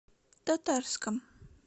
татарском